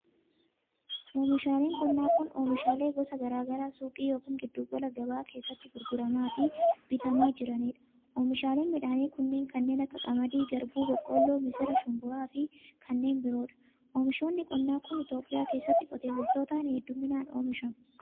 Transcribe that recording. Oomishaaeen qonnaa kun, oomishaalee gosa garaa garaa suuqii yokin giddu gabaa keessatti gurguramaa fi bitamaa jiranii dha. Oomishaaleen midhaanii kunneen kan akka:qamadii, garbuu, boqqoolloo, misira, shumburaa, xaafii, mishingaa, atara, baaqelaa fi kanneen biroo dha. Oomishoonni qonnaa kun, Itoophiyaa keessatti qotee bultootan hedduumminaan oomishamu.